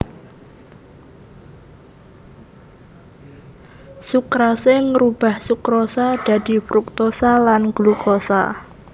Sukrase ngrubah sukrosa dadi fruktosa lan glukosa